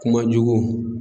Kuma jugu